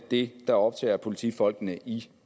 det der optager politifolkene i